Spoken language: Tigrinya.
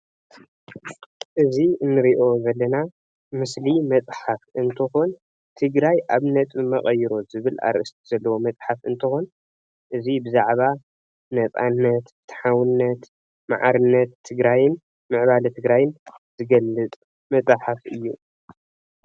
እዚ እንሪኦ ዘለና ምስሊ መፅሓፍ እትኾን ትግራይ ኣብ ነጥቢ መቐይሮ ዝብል ኣርእስቲ ዘለዎ መፅሓፍ እንትኮን እዚይ ብዛዕባ ነፃነት፣ ፍትሓውነት፣ ማዕርነት፣ ምዕባለ ትግራይን ዝገልፅ መፅሓፍ እዩ ፡፡